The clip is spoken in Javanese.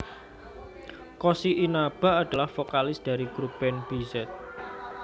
Koshi Inaba adalah vokalis dari grup band B z